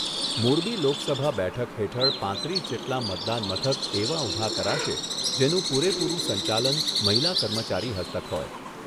મોરબી લોકસભા બેઠક હેઠળ પાંત્રીસ જેટલા મતદાન મથક એવા ઉભા કરાશે, જેનું પુરેપુરું સંચાલન મહિલા કર્મચારી હસ્તક હોય.